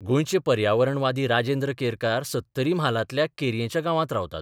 गोंयचे पर्यावरणवादी राजेंद्र केरकार सत्तरी म्हालांतल्या केरयेच्या गांवांत रावतात.